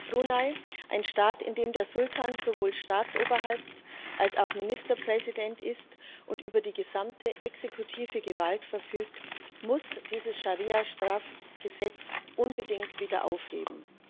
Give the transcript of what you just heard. Brunei, ein Staat, in dem der Sultan sowohl Staatsoberhaupt als auch Ministerpräsident ist und über die gesamte exekutive Gewalt verfügt, muss dieses Scharia Strafgesetz unbedingt wieder aufheben.